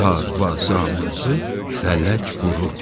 Darvazamızı fələk vurubdur.